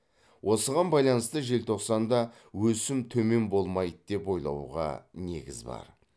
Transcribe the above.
осыған байланысты желтоқсанда өсім төмен болмайды деп ойлауға негіз бар